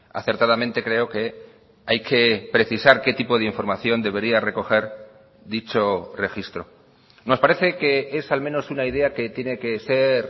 acertadamente creo que hay que precisar qué tipo de información debería recoger dicho registro nos parece que es al menos una idea que tiene que ser